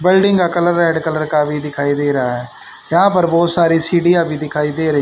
building का colour red colour का भी दिखाई दे रहा है यहां पर बहुत सारी सीढिया भी दिखाई दे रही--